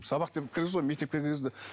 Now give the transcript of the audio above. сабақ деп кіргізді ғой мектепке кіргізді